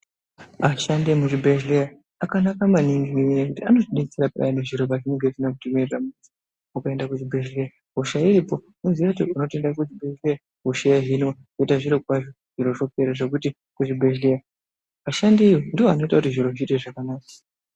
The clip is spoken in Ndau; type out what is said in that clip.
Ashandi emuzvibhedhleya akanaka maningi nenyaya yekuti anotibetsera payani zviro zvinenge zvisina kuti mirira mushe. ukatoende kuchibhedhleya hosha iripa unoziya kuti unotoende kuzvibhedhleya hosha yohinwa. Votoita zviro kwazvo zviro zvipera zvekuti kuzvibhedhlera ashandivo ndivoanoita kuti zviro zviite zvakanaka.